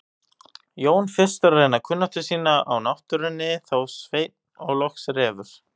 Jón fyrstur að reyna kunnáttu sína á náttúrunni, þá Sveinn og loks Refur.